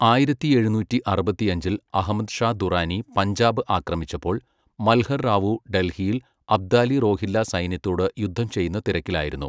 ആയിരത്തി എഴുന്നൂറ്റി അറുപത്തിയഞ്ചിൽ അഹ്മദ് ഷാ ദുറാനി പഞ്ചാബ് ആക്രമിച്ചപ്പോൾ, മൽഹർ റാവു ഡൽഹിയിൽ അബ്ദാലി റോഹില്ല സൈന്യത്തോട് യുദ്ധം ചെയ്യുന്ന തിരക്കിലായിരുന്നു.